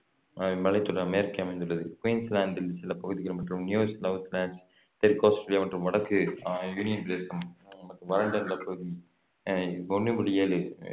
அஹ் மலைத்தொடர் மேற்கே அமைந்துள்ளது குயின்ஸ்லாந்தின் சில பகுதிகள் மற்றும் நியூசவுத் வேல்ஸ் தெற்கு ஆஸ்திரேலியா மற்றும் வடக்கு அஹ் யூனியன் பிரதேசம் வறண்ட நிலப்பகுதி அஹ் இது ஒண்ணு புள்ளி ஏழு